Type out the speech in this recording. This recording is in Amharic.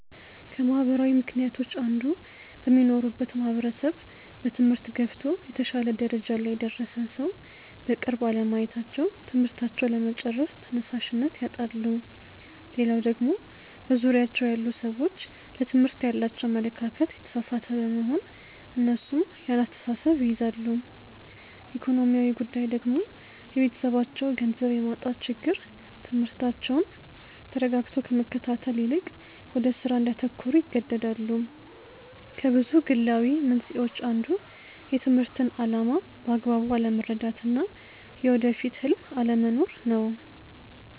ከማህበራዊ ምክንያቶች አንዱ በሚኖሩበት ማህበረሰብ በትምህርት ገፍቶ የተሻለ ደረጃ ላይ የደረሰን ሰው በቅርብ አለማየታቸው ትምህርታቸውን ለመጨረስ ተነሻሽነት ያጣሉ። ሌላው ደግሞ በዙሪያቸው ያሉ ሰዎች ለትምህርት ያላቸው አመለካከት የተሳሳተ በመሆን እነሱም ያን አስተሳሰብ ይይዛሉ። ኢኮኖሚያዊ ጉዳይ ደግሞ የቤተሰባቸው ገንዘብ የማጣት ችግር ትምህርታቸውን ተረጋግቶ ከመከታተል ይልቅ ወደ ስራ እንዲያተኩሩ ይገደዳሉ። ከብዙ ግላዊ መንስኤዎች አንዱ የትምህርትን አላማ በአግባቡ አለመረዳት እና የወደፊት ህልም አለመኖር ነው።